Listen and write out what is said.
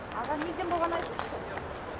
аға неден болғанын айтыңызшы